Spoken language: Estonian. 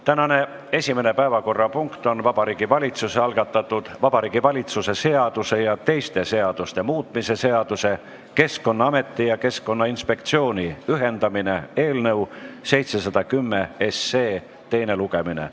Tänane esimene päevakorrapunkt on Vabariigi Valitsuse algatatud Vabariigi Valitsuse seaduse ja teiste seaduste muutmise seaduse eelnõu 710 teine lugemine.